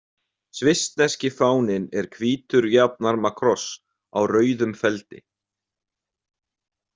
Svissneski fáninn er hvítur jafnarma kross á rauðum feldi.